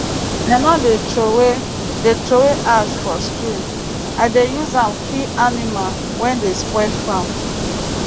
i no dey trowey dey trowey ash for stream i dey use am kill animal wey dey spoil farm